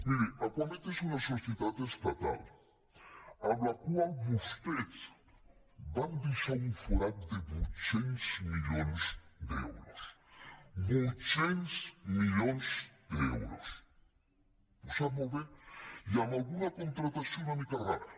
miri acuamed és una societat estatal en la qual vostès van deixar un forat de vuit cents milions d’euros vuit cents milions d’euros ho sap molt bé i amb alguna contractació una mica rara